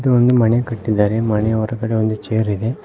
ಒಂದು ಮನೆ ಕಟ್ಟಿದರೆ ಮನೆ ಹೊರಗಡೆ ಒಂದು ಚೇರ್ ಇದೆ.